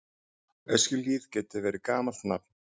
Öskjuhlíð getur verið gamalt nafn.